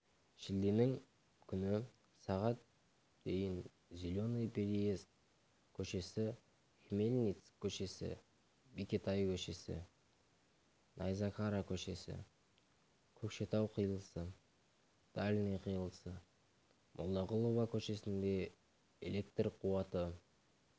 шілденің күні сағат дейін зеленый переезд көшесі хмельницк көшесі бекетай көшесі найзакара көшесі көкшетау қиылысы дальний қиылысы молдағұлова көшесінде электр қуаты